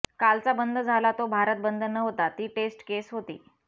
कालचा बंद झाला तो भारत बंद नव्हता ती टेस्ट केस होती